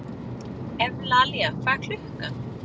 Evlalía, hvað er klukkan?